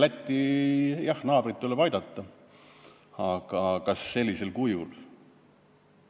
Jah, naabrit tuleb aidata, aga kas sellisel kujul.